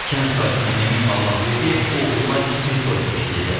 Kənd sakini Emin Allahverdiyev oğluna kiçik toy təşkil edib.